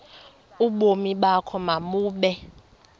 ubomi bakho mabube